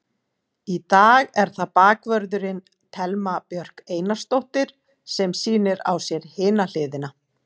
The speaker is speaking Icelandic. Í dag er það bakvörðurinn, Thelma Björk Einarsdóttir sem sýnir á sér hina hliðina.